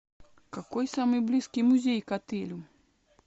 какой самый близкий музей к отелю